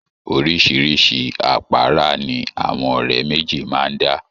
Oríṣiríṣi àpárá ni àwọn ọ̀rẹ́ méjì máa ń dá.